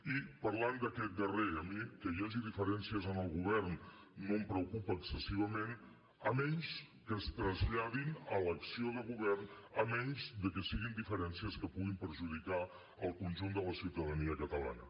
i parlant d’aquest darrer a mi que hi hagi diferències en el govern no em preocupa excessivament a menys que es traslladin a l’acció de govern a menys que siguin diferències que puguin perjudicar el conjunt de la ciutadania catalana